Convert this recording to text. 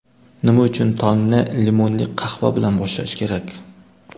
Nima uchun tongni limonli qahva bilan boshlash kerak?.